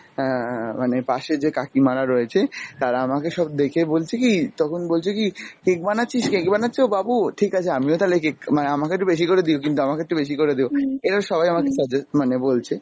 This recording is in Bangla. অ্যাঁ মানে পাশে যে কাকিমারা রয়েছে তারা আমাকে সব দেখে বলছে কী, তখন বলছে কী cake বানাচ্ছিস cake বানাচ্ছো বাবু! ঠিক আছে আমিও তালে cake মানে আমাকে একটু বেশি করে দিও কিন্তু, আমাকে একটু বেশি করে দিও এরা সবাই আমাকে সাজে মানে বলছে,